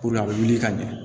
a bɛ wuli ka ɲɛ